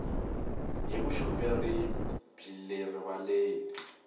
hi vuxoperi byi le rivaleni